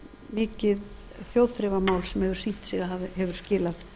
mikið þjóðþrifamál sem hefur sýnt sig að hefur skilað